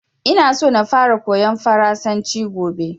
Ina so na fara koyan farasanci gobe